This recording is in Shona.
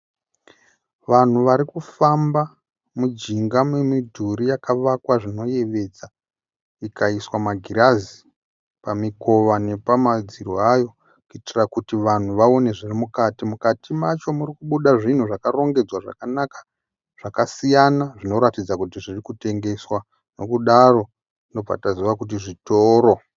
Vanhu vari kufamba mujinga memudhuri yakavakwa zvinoyevedza, ikaiswa magirazi pamikova nepamadziro ayo kuitira kuti vanhu vaone zviri mukati. Mukati macho muri kubuda zvinhu zvakarongedzwa zvakanaka zvakasiyana zvinoratidza kuti zviri kutengesa. Nokudaro tinobva taziva kuti zvitoro.